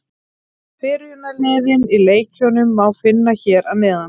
Byrjunarliðin í leikjunum má finna hér að neðan.